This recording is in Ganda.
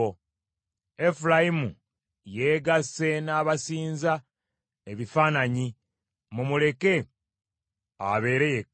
Efulayimu yeegasse n’abasinza ebifaananyi, mumuleke abeere yekka.